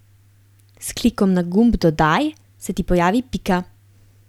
S klikom na gumb Dodaj se ti pojavi pika.